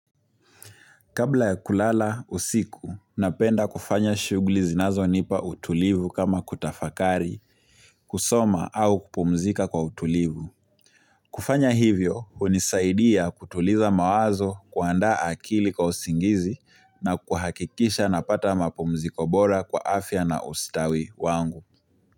Kabla ya kulala usiku, napenda kufanya shughuli zinazo nipa utulivu kama kutafakari, kusoma au kupumzika kwa utulivu. Kufanya hivyo, unisaidia kutuliza mawazo, kuandaa akili kwa usingizi na kuhakikisha napata mapumziko bora kwa afya na ustawi wangu.